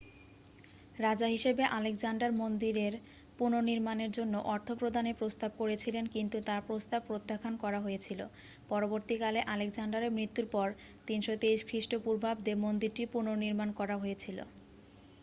রাজা হিসাবে আলেকজান্ডার মন্দিরের পুনর্নির্মাণের জন্য অর্থ প্রদানের প্রস্তাব করেছিলেন কিন্তু তার প্রস্তাব প্রত্যাখ্যান করা হয়েছিল পরবর্তীকালে আলেকজান্ডারের মৃত্যুর পর 323 খ্রিস্টপূর্বাব্দে মন্দিরটির পুনর্নির্মাণ করা হয়েছিল